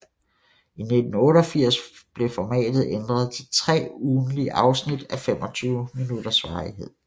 I 1988 blev formatet ændret til tre ugentlige afsnit af 25 minutters varighed